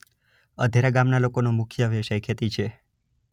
અધેરા ગામના લોકોનો મુખ્ય વ્યવસાય ખેતી છે.